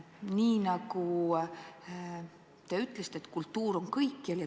Nii nagu te ütlesite, kultuur on kõikjal.